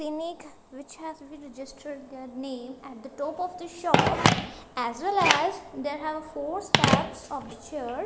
which has been registered their name at the top of the shop as well as there have a four steps of the .